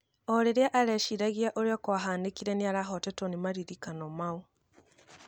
O rĩria areciragia ũrĩa kwahanĩkire nĩarahotetwo nĩ maririkano mau